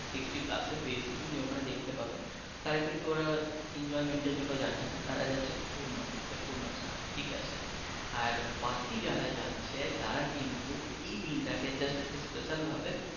sixty plus বেশি তুমি ওইখানে দেখতে পাবে তারা কিন্তু ওরা enjoyment এর জন্য যাচ্ছে না তারা যাচ্ছে পূর্ণ করতে পূর্ণ স্লান ঠিক আছে । আর বাকি যারা যাচ্ছে তারা কিন্তু এই দিনটাকে just special ভাবে